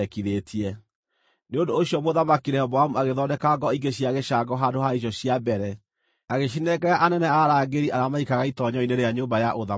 Nĩ ũndũ ũcio Mũthamaki Rehoboamu agĩthondeka ngo ingĩ cia gĩcango handũ ha icio cia mbere, agĩcinengera anene a arangĩri arĩa maikaraga itoonyero-inĩ rĩa nyũmba ya ũthamaki.